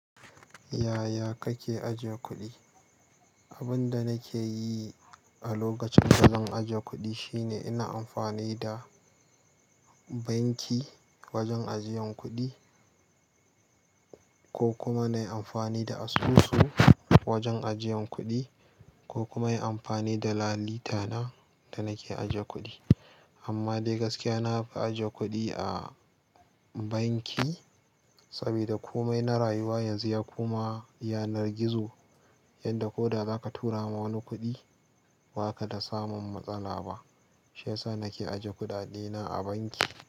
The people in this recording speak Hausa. Yaya kake ajiye kuɗi? Abin da nake yi a lokacin da zan ajiye kuɗi shine ina amfani da banki wajen ajiyan kuɗi ko kuma na yi amfani da asusu wajen ajiyan kuɗi ko kuma inyi amfani da lalita na da nake ajiye kuɗi. Amma dai gaskiya na fi ajiye kuɗi a banki saboda kome na rayuwa yanzu ya koma yanar gizo yadda ko da zaka tura ma wani kuɗi ba ka da samun matsala ba. Shaya sa nake ajiye kuɗaɗe na a banki.